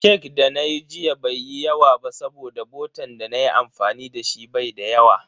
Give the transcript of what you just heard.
Cake da nayi jiya bai yi yawa ba saboda botan dana yi amfani dashi bai da yawa.